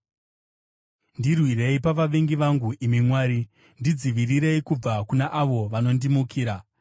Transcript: Ndirwirei pavavengi vangu, imi Mwari; Ndidzivirirei kubva kuna avo vanondimukira.